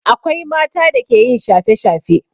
Akwai mata da ke yin shafe-shafe.